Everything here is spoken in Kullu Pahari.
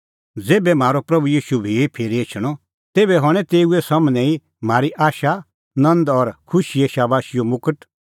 ज़ेभै म्हारअ प्रभू ईशू भी फिरी एछणअ तेभै हणैं तेऊ सम्हनै तम्हैं ई म्हारी आशा नंद और खुशीए शाबाशीओ मुगट